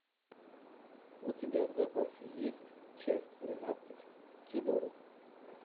у тебя в запасе есть часть тринадцать тюдоры